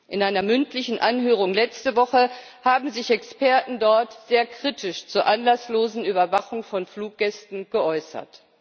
In einer mündlichen Anhörung letzte Woche haben sich Experten dort sehr kritisch zur anlasslosen Überwachung von Fluggästen geäußert.